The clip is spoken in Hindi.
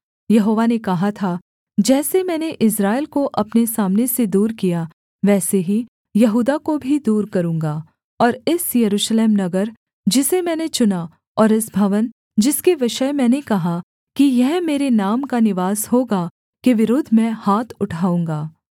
यहोवा ने कहा था जैसे मैंने इस्राएल को अपने सामने से दूर किया वैसे ही यहूदा को भी दूर करूँगा और इस यरूशलेम नगर जिसे मैंने चुना और इस भवन जिसके विषय मैंने कहा कि यह मेरे नाम का निवास होगा के विरुद्ध मैं हाथ उठाऊँगा